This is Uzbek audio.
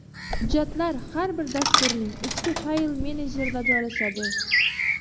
Hujjatlar har bir dasturning ichki fayl menejerida joylashadi.